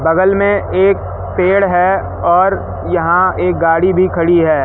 बगल मे एक पेड़ है और यहां एक गाड़ी भी खड़ी है।